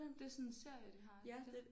Det er sådan en serie de har ja